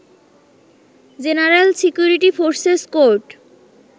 general security forces court